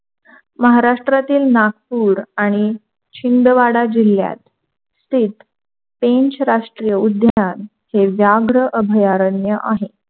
महाराष्ट्रातील नागपूर आणि शिंदवाडा जिल्ह्यात स्थित पेंच राष्ट्रीय उद्यान हे व्याघ्र अभयारण्य आहे.